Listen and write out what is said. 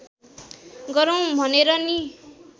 गरौँ भनेर नि